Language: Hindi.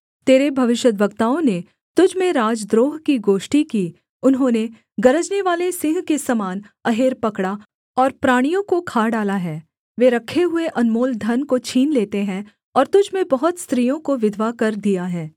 तेरे भविष्यद्वक्ताओं ने तुझ में राजद्रोह की गोष्ठी की उन्होंने गरजनेवाले सिंह के समान अहेर पकड़ा और प्राणियों को खा डाला है वे रखे हुए अनमोल धन को छीन लेते हैं और तुझ में बहुत स्त्रियों को विधवा कर दिया है